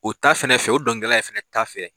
U ta fɛnɛ fɛ o donkilidala yɛrɛ fɛnɛ ta fɛ.